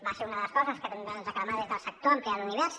va ser una de les coses que també van reclamar des del sector ampliar l’univers